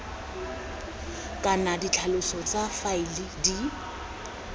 kana ditlhaloso tsa faele di